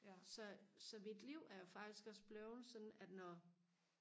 så så mit liv er faktisk også blevet sådan at når